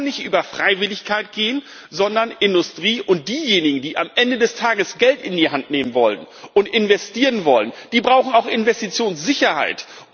Das kann nicht über Freiwilligkeit gehen, sondern die Industrie und diejenigen, die am Ende des Tages Geld in die Hand nehmen und investieren wollen, brauchen auch Investitionssicherheit.